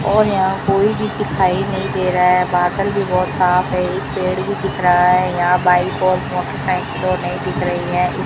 और यहां कोई भी दिखाई नहीं दे रहा है बादल भी बहुत साफ है एक पेड़ भी दिख रहा है यहां बाइक और मोटरसाइकिल नहीं दिख रही है।